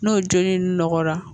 N'o joli in nɔgɔra